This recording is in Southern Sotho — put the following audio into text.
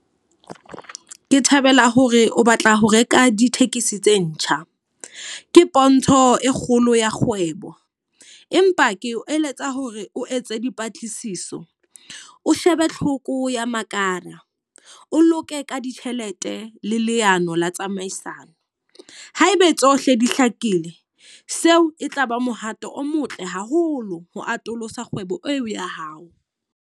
Ke thabela hore o batla ho reka ditekesi tse ntjha. Ke pontsho e kgolo ya kgwebo. Empa ke o eletsa hore o etse dipatlisiso. O shebe tlhoko ya makala, o loke ka ditjhelete le leano la tsamaisano. Haebe tsohle di hlakile, seo e tlaba mohato o motle haholo ho atolosa kgwebo eo ya hao.